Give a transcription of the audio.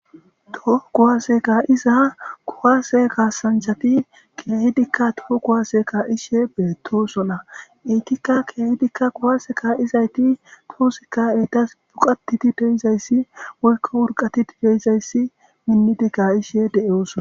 Toho kuwase ka'iza kuwase kasanchati keehidika kuwase ka'ishe de'osona entika keehidika kuwase ka'idi de'izayti eoylo urqatidi de'izayti minidi ka'ishe de'osona.